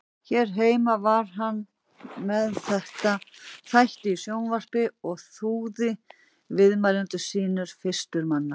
Hér heima var hann með þætti í sjónvarpi og þúaði viðmælendur sína fyrstur manna.